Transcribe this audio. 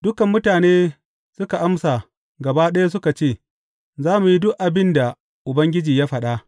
Dukan mutane suka amsa gaba ɗaya suka ce, Za mu yi duk abin da Ubangiji ya faɗa.